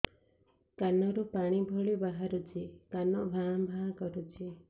କାନ ରୁ ପାଣି ଭଳି ବାହାରୁଛି କାନ ଭାଁ ଭାଁ କରୁଛି